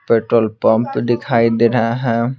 Petrol pump दिखाई दे रहा है।